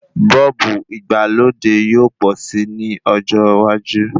Bọ́ọ̀bù ìgbàlódé yóò pọ̀ si lọ́jọ́ iwájú